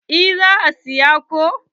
Eh na saya ko.